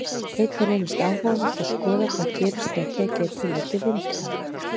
Einnig reynist áhugavert að skoða hvað gerist þegar tekið er tillit til vindhraða.